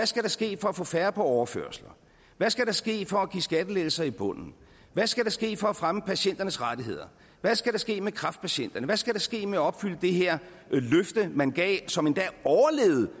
skal ske for at få færre på overførsler hvad skal der ske for at give skattelettelser i bunden hvad skal der ske for at fremme patienternes rettigheder hvad skal der ske med kræftpatienterne hvad skal der ske med at opfylde det her løfte man gav som endda overlevede